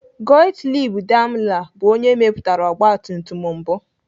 Gottlieb Daimler bụ onye mepụtara ọgbatumtum mbụ.